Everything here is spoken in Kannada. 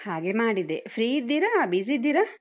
ಹಾಗೆ ಮಾಡಿದೆ. free ಇದ್ದೀರಾ? busy ಇದ್ದೀರಾ?